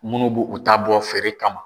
Munnu bu u ta bɔ feere kama.